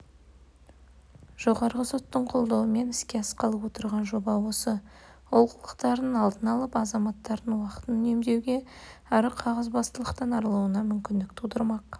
жоғарғы соттың қолдауымен іске асқалы отырған жоба осы олқылықтардың алдын алып азаматтардың уақытын үнемдеуге әрі қағазбастылықтан арылуына мүмкіндік тудырмақ